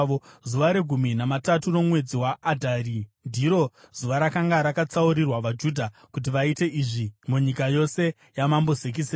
Zuva regumi namatatu romwedzi waAdhari ndiro zuva rakanga rakatsaurirwa vaJudha kuti vaite izvi munyika yose yaMambo Zekisesi.